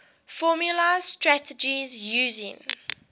formalised strategies using